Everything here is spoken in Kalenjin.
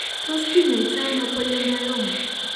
Tos' kiny'aaytonano polyembryoma?